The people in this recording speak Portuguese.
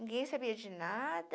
Ninguém sabia de nada.